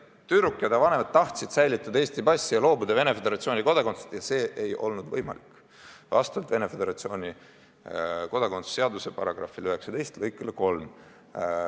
Tüdruk ja ta vanemad tahtsid säilitada Eesti passi ja loobuda Venemaa Föderatsiooni kodakondsusest, aga see ei olnud võimalik vastavalt Venemaa Föderatsiooni kodakondsuse seaduse § 19 lõikele 3.